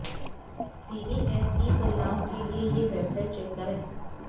CBSE परिणाम के लिए ये वेबसाइट चेक करें